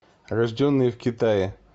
рожденные в китае